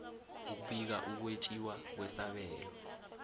ukubika ukwetjiwa kwesabelo